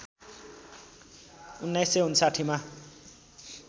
१९५९ मा